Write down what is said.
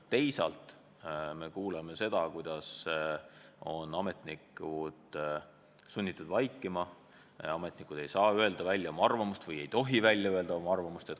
Teisalt me kuuleme seda, et ametnikud on sunnitud vaikima – ametnikud ei saa või ei tohi oma arvamust välja öelda.